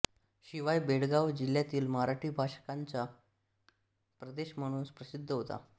शिवाय बेळगाव जिल्ह्यातील मराठी भाषकांचा प्रदेश म्हणून प्रसिद्ध होता